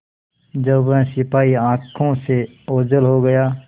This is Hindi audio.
जब वह सिपाही आँखों से ओझल हो गया